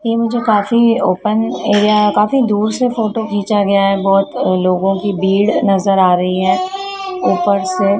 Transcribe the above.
यह मुझे काफी ओपन एरिया काफी दूर से फोटो खींचा गया है बहुत लोगों की भीड़ नजर आ रही है ऊपर से--